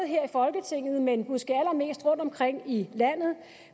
her i folketinget men måske allermest rundtomkring i landet